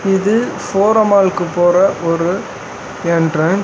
இது ஃபோரோ மால்க்கு போற ஒரு எண்ட்ரன்ஸ்.